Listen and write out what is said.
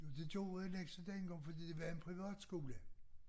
Jo det gjorde vel også dengang for det var en privatskole